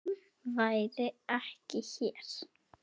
Hann væri ekki hér.